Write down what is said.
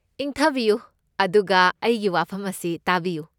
ꯏꯪꯊꯕꯤꯌꯨ ꯑꯗꯨꯒ ꯑꯩꯒꯤ ꯋꯥꯐꯝ ꯑꯁꯤ ꯇꯥꯕꯤꯌꯨ꯫